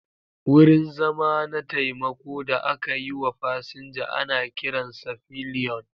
Wurin zama na taimako da aka yi wa fasinja ana kiransa pillion.